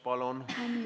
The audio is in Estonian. Palun!